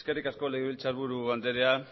eskerrik asko legebiltzarburu andrea